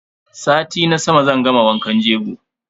Sati na sama zan gama wankan jego.